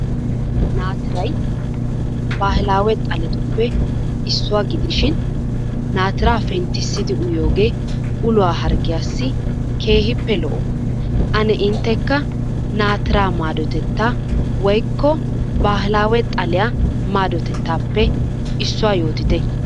Naatiray bahilaawe xalettuppe issuwa gidishin naatira penttissidi uyiyoogee uluwa harggiyassi keehiippe lo'o. Ane inttekka naatiraa maadotettaa woikko bahilaawe xaliya madotettaappe issuwa yootite.